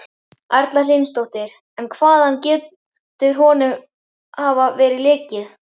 Erla Hlynsdóttir: En hvaðan getur honum hafa verið lekið?